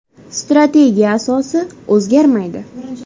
Strategiya asosi o‘zgarmaydi.